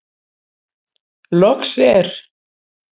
Loks er.